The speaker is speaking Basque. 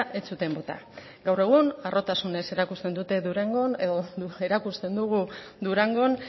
ez zuten bota gaur egun harrotasunez erakusten dute durangon edo erakusten dugu durangon